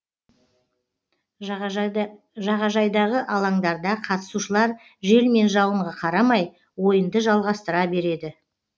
жағажайдағы алаңдарда қатысушылар жел мен жауынға қарамай ойынды жалғастыра береді